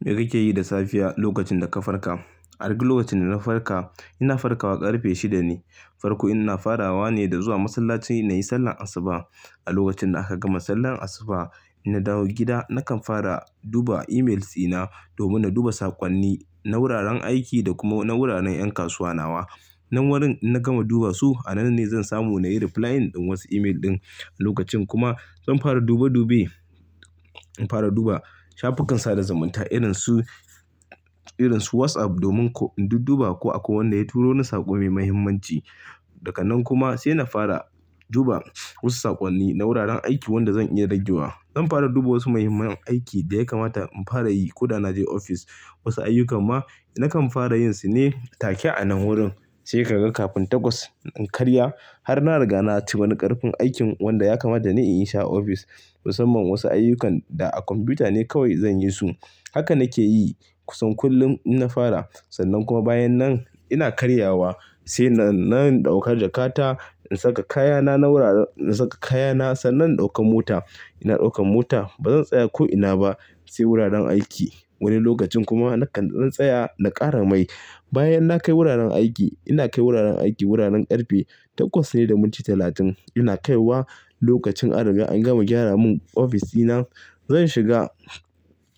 Me kake yi da safiya lokacin da ka farka? A duk lokacin da na farka, ina farkawa ƙarfe shida ne. Farko ina farawa ne da zuwa masallaci na yi sallar Asuba. A lokacin da aka gama sallar Asuba, in na dawo gida nakan fara duba emails dina domin na duba saƙonni na wuraren aiki da kuma na wuraren ƴan kasuwa nawa. Nan wurin ina gama duba su, a nan ne zan samu na yi replying ɗin wasu email ɗin. Lokacin kuma zan fara dube-dube, in fara duba shafukan sada zumunta irin su, irin su WhatsApp domin in duk duba ko akwai wanda ya turo min saƙo mai mahimmanci. Daga nan kuma sai na fara duba wasu saƙonni na wuraren aiki wanda zan iya ragewa. Zan fara duba wasu muhimman aiki da ya kamata in fara yi ko da na je ofis. Wasu ayyuka ma nakan fara yin su ne take a nan wurin sai ka ga kafin takwas in karya har na riga na ci wani ƙarfin aikin wanda ya kamata da ni in yi shi a ofis. Musamman wasu ayyukan da a kwamfuta ne kawai zan yi su. Haka nake yi kusan kullum in na fara. Sannan kuma bayan nan ina karyawa sai na ɗauka jakata in saka kayana na wuraren in saka kayana sannan in ɗauka mota. Ina ɗaukan mota ba zan tsaya ko ina ba sai wuraren aiki. Wani lokacin kuma nakan ɗan tsaya na ƙara mai. Bayan na kai wuraren aiki, ina kai wuraren aiki wuraren ƙarfe takwas ne da minti talatin ina kaiwa. Lokacin an riga an gama gyara mun ofis dina, zan shiga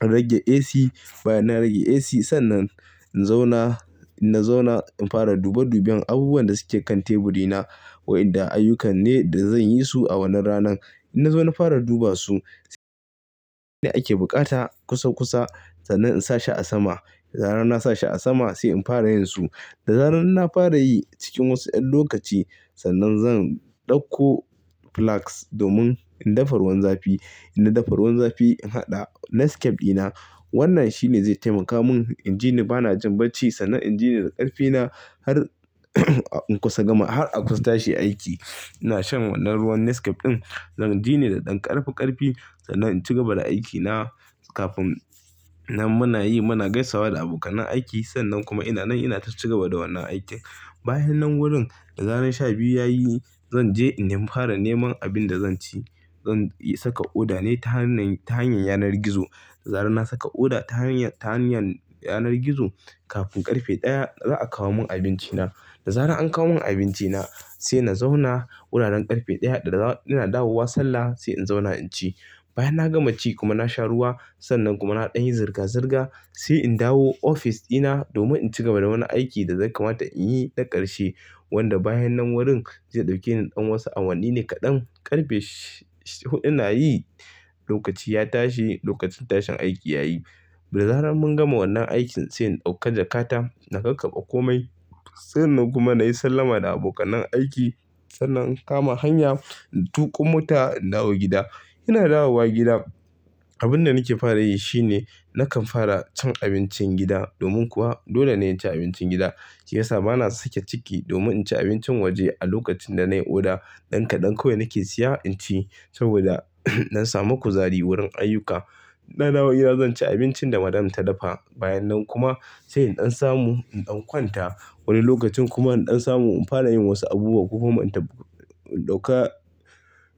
in rage AC. Bayan na rage AC sannan in zauna, in na zauna in fara dube duben abubuwan da suke kan teburi na. Waɗanda ayyukan ne da zan yi su a wannan ranan. In na zo na fara duba su, sai ake buƙata kusa-kusa sannan in sa shi a sama. Da zarar na sa shi a sama sai in fara yin su. Da zarar ina fara yi cikin wasu ƴan lokaci sannan zan ɗauko flask domin in dafa ruwan zafi. In na dafa ruwan zafi in haɗa Nescafe ɗina. Wannan shine zai taimaka mun in ji ni bana jin bacci sannan in ji ni da ƙarfi na har in kusa gama, har a kusa tashi aiki. Ina shan wannan ruwan Nescafe ɗin zan ji ni da ɗan ƙarfi-ƙarfi sannan in ci gaba da aikina. Kafin nan muna yi, muna gaisawa da abokan aiki sannan kuma ina nan ina ta cigaba da wannan aikin. Bayan nan wurin da zarar sha biyu yayi, zan je in fara neman abin da zan ci. Zan yi saka order ne ta hanyar, ta hanyar yanar gizo. Da zarar na saka order ta hanyar, ta hanyar yanar gizo, kafin ƙarfe ɗaya za'a kawo mun abinci na. Da zarar an kawo mun abinci na sai na zauna wuraren ƙarfe ɗaya da ina dawowa sallah sai in zauna in ci. Bayan na gama ci kuma na sha ruwa sannan kuma na ɗan yi zirga-zirga sai in dawo ofis dina domin in ci gaba da wani aiki da zai kamata in yi da ƙarshe wanda bayan nan wurin zai ɗauke ni ɗan wasu awanni ne kaɗan. Ƙarfe sh-sh huɗu na yi, lokaci ya tashi, lokacin tashin aiki yayi. Da zarar mun gama wannan aikin sai in ɗauka jakata na kai kakkaɓa ƙomai. Sannan kuma na yi sallama da abokan aiki sannan in kama hanya in tuƙa mota in dawo gida. Ina dawowa gida, abin da nake fara yi shine nakan fara cin abincin gida domin kuwa dole ne in ci abincin gida. Shiyasa bana sake ciki domin in ci abincin waje a lokacin da nai order. Ɗan kaɗan kawai nake siya in ci saboda in ɗan samu kuzari wurin ayyuka. Ina dawowa gida zan ci abincin da Madam ta dafa. Bayan nan kuma sai in ɗan samu in ɗan kwanta. Wani lokacin kuma in ɗan samu in fara yin wasu abubuwa. Kuma in ta ɗauka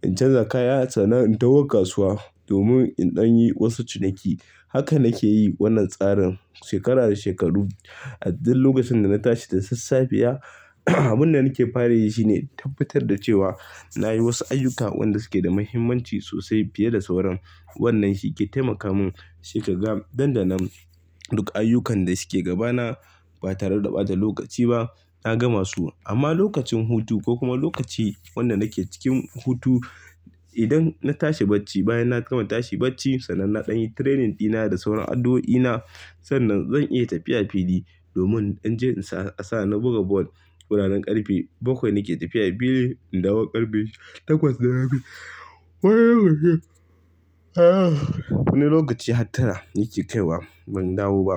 in canza kaya sannan in taho kasuwa domin in ɗan yi wasu ciniki. Haka nake yi wannan tsarin shekara da shekaru. A duk lokacin da na tashi da sassafiya, abin da nake fara yi shine tabbatar da cewa na yi wasu ayyuka waɗanda suke da muhimmanci sosai fiye da sauran. Wannan shi ke taimaka mun sai ka ga danda nan duk ayyukan da suke gaba na ba tare da ɓata lokaci ba na gama su. Amma lokacin hutu ko kuma lokaci wanda nake cikin hutu, idan na tashi bacci bayan na gama tashi bacci sannan na ɗan yi training ɗina da sauran addu'oi na, sannan zan iya tafiya fili domin in je in sa, a sa na buga ball wuraren ƙarfe bakwai nake tafiya fili. In dawo ƙarfe Takwas da rabi. Wani lokaci hattara nake kaiwa ban dawo ba.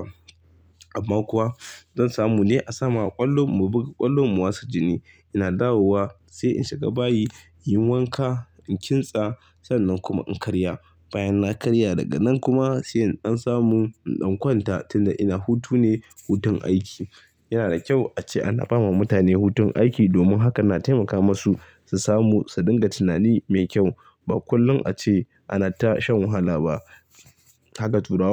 Amma kuwa zan samu ne a samu a ƙwallo mu buga, ƙwallo mu wasa jini. Ina dawowa sai in shiga bayi, yin wanka, in kintsa sannan kuma in karya. Bayan na karya daga nan kuma sai in ɗan samu in ɗan kwanta tun da ina hutune, hutun aiki. Yana da kyau ace ana ba ma mutane hutun aiki domin hakan na taimaka masu su samu su dinga tunani mai kyau. Ba kullum ace ana tasha wahala ba. Haka turawa.